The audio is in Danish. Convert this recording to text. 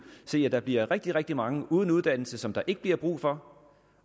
se at der bliver rigtig rigtig mange uden uddannelse som der ikke bliver brug for